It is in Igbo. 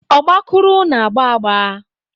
Ọgbakụrụ na-agba agba.